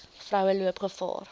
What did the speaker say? vroue loop gevaar